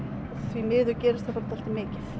því miður gerist það bara dálítið mikið